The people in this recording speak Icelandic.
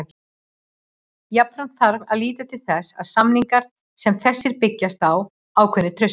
Jafnframt þarf að líta til þess að samningar sem þessir byggjast á ákveðnu trausti.